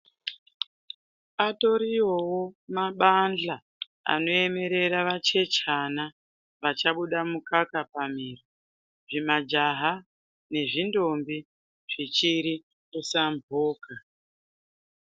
Atoriyowo mabanhla anoemerera vachechana vachabuda mukaka pamiro, zvimajaha, nezvindombi zvichiri kusamvuka.